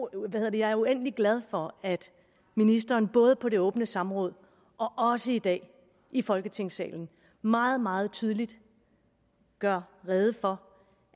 jeg er uendelig glad for at ministeren både på det åbne samråd og også i dag i folketingssalen meget meget tydeligt gør rede for